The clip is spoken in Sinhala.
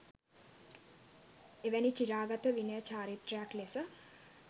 එවැනි චිරාගත විනය චාරිත්‍රයක් ලෙස